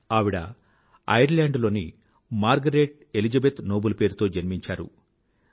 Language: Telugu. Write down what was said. ఆవిడ ఐర్ల్యాండ్ లో మార్గరెట్ ఎలిజబెత్ నోబుల్ పేరుతో జన్మించింది